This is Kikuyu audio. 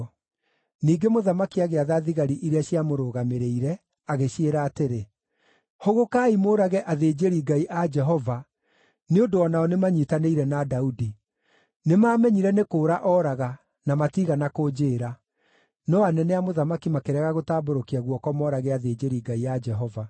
Ningĩ mũthamaki agĩatha thigari iria ciamũrũgamĩrĩire, agĩciĩra atĩrĩ: “Hũgũkaai mũũrage athĩnjĩri-Ngai a Jehova nĩ ũndũ o nao nĩmanyiitanĩire na Daudi. Nĩmamenyire nĩ kũũra ooraga, na matiigana kũnjĩĩra.” No anene a mũthamaki makĩrega gũtambũrũkia guoko moorage athĩnjĩri-Ngai a Jehova.